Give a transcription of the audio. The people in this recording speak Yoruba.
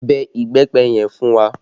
Bẹ ìbẹ́pẹ yẹn fún wa!